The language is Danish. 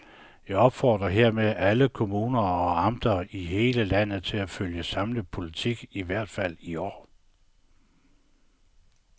Jeg opfordrer hermed alle kommuner og amter i hele landet til at følge samme politik i hvert fald i år.